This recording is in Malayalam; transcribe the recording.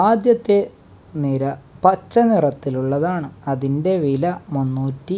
ആദ്യത്തെ നിര പച്ചനിറത്തിലുള്ളതാണ് അതിന്റെ വില മുന്നൂറ്റി--